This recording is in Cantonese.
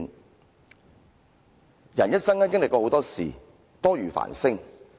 一個人在一生中會經歷很多事，多如繁星。